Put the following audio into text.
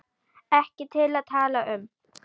Ekki til að tala um.